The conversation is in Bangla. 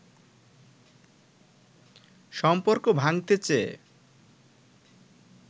সম্পর্ক ভাঙতে চেয়ে